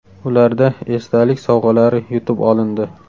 Ularda esdalik sovg‘alari yutib olindi.